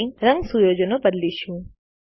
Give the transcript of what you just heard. હવે રંગ સુયોજનો બદલીશું